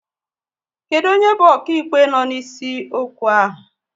Kedụ onye bụ okaịkpe no n'isi okwu ahụ?